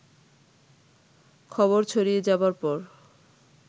খবর ছড়িয়ে যাবার পর